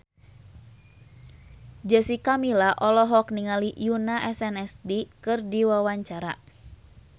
Jessica Milla olohok ningali Yoona SNSD keur diwawancara